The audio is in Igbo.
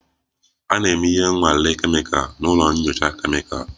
A na-eme ihe nnwale kemikal n'ụlọ nyocha kemịkal